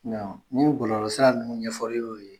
ni bɔlɔlɔ sira ninnu ɲɛfɔli y'o ye